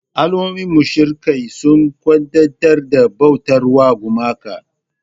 Al'ummomin mushrikai suna kwadaitar da bautar gumaka.